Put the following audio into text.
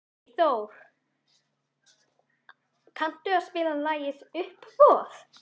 Freyþór, kanntu að spila lagið „Uppboð“?